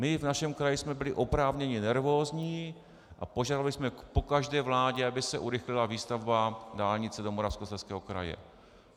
My v našem kraji jsme byli oprávněně nervózní a požadovali jsme po každé vládě, aby se urychlila výstavba dálnice do Moravskoslezského kraje.